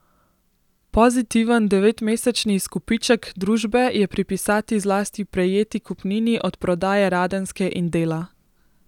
Pozitiven devetmesečni izkupiček družbe je pripisati zlasti prejeti kupnini od prodaje Radenske in Dela.